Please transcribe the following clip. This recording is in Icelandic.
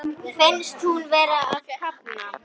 Finnst hún vera að kafna.